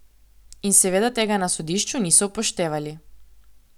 In seveda tega na sodišču niso upoštevali.